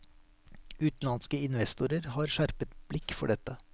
Utenlandske investorer har skjerpet blikk for dette.